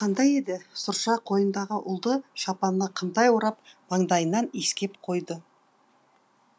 о ол кезде қандай еді сұрша қойнындағы ұлды шапанына қымтай орап маңдайынан иіскеп қойды